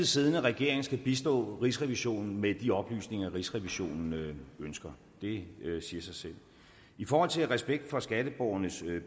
siddende regering skal bistå rigsrevisionen med de oplysninger rigsrevisionen ønsker det siger sig selv i forhold til respekt for skatteborgernes